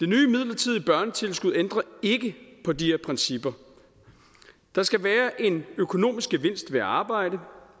midlertidige børnetilskud ændrer ikke på de her principper der skal være en økonomisk gevinst ved at arbejde